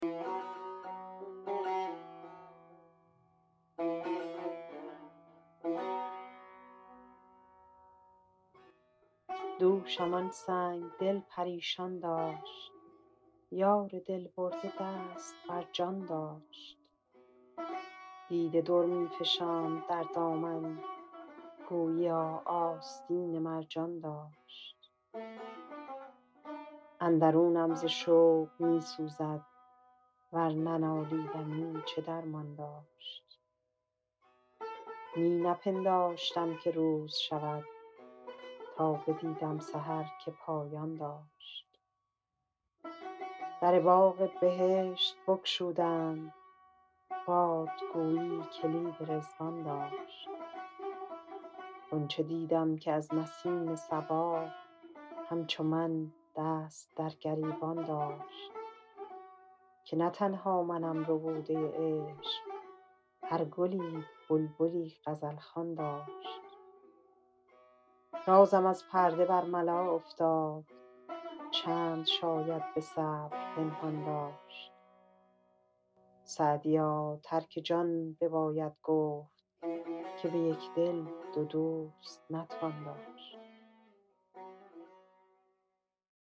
دوشم آن سنگ دل پریشان داشت یار دل برده دست بر جان داشت دیده در می فشاند در دامن گوییا آستین مرجان داشت اندرونم ز شوق می سوزد ور ننالیدمی چه درمان داشت می نپنداشتم که روز شود تا بدیدم سحر که پایان داشت در باغ بهشت بگشودند باد گویی کلید رضوان داشت غنچه دیدم که از نسیم صبا همچو من دست در گریبان داشت که نه تنها منم ربوده عشق هر گلی بلبلی غزل خوان داشت رازم از پرده برملا افتاد چند شاید به صبر پنهان داشت سعدیا ترک جان بباید گفت که به یک دل دو دوست نتوان داشت